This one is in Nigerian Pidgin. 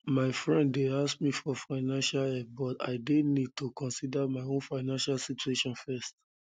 my friend dey ask me for financial help but i dey need to consider my own financial situation first